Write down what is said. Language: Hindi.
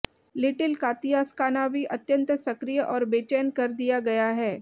लिटिल कातिया स्कानावी अत्यंत सक्रिय और बेचैन कर दिया गया है